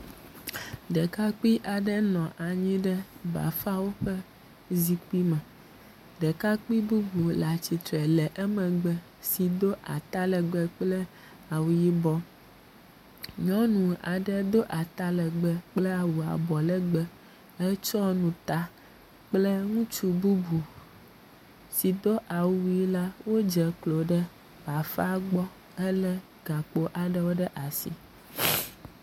Ɖekakpui aɖe nɔ anyi ɖe bafawo ƒe zikpui me. Ɖekakpui bubu le atsitre le emegbe si do ata legbe kple awu yibɔ, nyɔnu aɖe do awu ata legbe kple awu abɔ legbee hetsɔ nu ta kple ŋutsu bubu si dɔ awuʋi la wodze klo ɖe bafa la gbɔ helé gakpo aeɖwo ɖe asi.